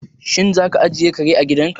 Shin za ka ajiye kare a gidan ka?